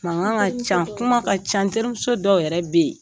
Mankan ka ca, kuma ka ca, n terimuso dɔw yɛrɛ bɛ yen.